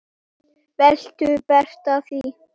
Viltu breyta því